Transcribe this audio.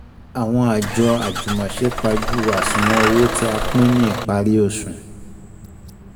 Àwọn àjọ àjùmọ̀se pajú àṣùwọ̀n owó tí a pín ní ìparí oṣù